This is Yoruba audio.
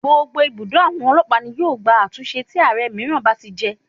Gbogbo ibùdó àwọn ọlọ́pàá ní yóò gba àtúnṣe tí Ààrẹ mìíràn bá ti jẹ.